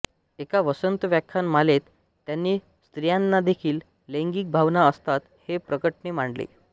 एका वसंत व्याख्यान मालेत त्यांनी स्त्रियांनादेखील लैंगिक भावना असतात हे प्रकटपणे मांडले